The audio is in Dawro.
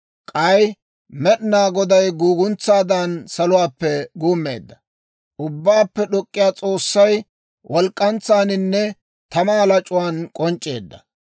K'ay Med'inaa Goday guuguntsaadan saluwaappe guummeedda; Ubbaappe D'ok'k'iyaa S'oossay walk'k'antsaaninne tamaa lac'uwaan k'onc'c'eedda.